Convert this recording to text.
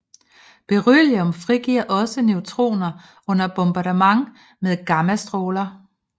Beryllium frigiver også neutroner under bombardement med gammastråler